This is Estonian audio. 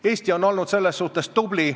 Eesti on olnud selles suhtes tubli.